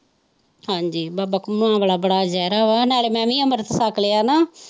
ਹਾਜੀ ਬਾਬਾ ਘੁੰਮਣ ਬੜਾ ਗਹਿਰਾ ਵਾ ਨਾਲੇ ਮੈਂ ਵੀ ਅੰਮ੍ਰਿਤ ਛੱਕ ਲਿਆ ਨਾ।